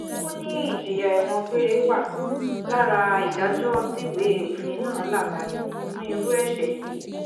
ó ní ìjìyà ẹ̀wọ̀n gbére wà lára ìdájọ́ tíwèé òfin náà la kalẹ̀ fún irú ẹ̀ṣẹ̀ yìí